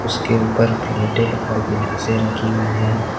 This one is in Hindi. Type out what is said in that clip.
उसके ऊपर प्लेटे है और गिलासे रखी हुई है।